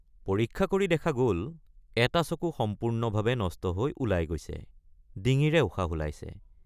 পৰীক্ষা কৰি দেখা গল এটা চকু সম্পূৰ্ণভাৱে নষ্ট হৈ ওলাই গৈছে ডিঙিৰে উশাহ ওলাইছে।